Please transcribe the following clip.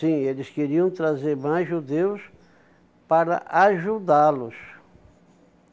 Sim, eles queriam trazer mais judeus para ajudá-los.